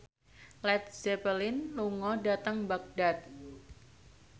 Led Zeppelin lunga dhateng Baghdad